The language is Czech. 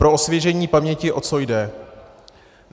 Pro osvěžení paměti, o co jde.